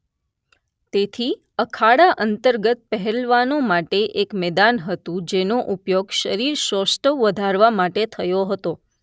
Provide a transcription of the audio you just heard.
તેથી અખાડા અંતર્ગત પહેલવાનો માટે એક મેદાન હતું જેનો ઉપયોગ શરીરશૌષ્ટવ વધારવા માટે થયો હતો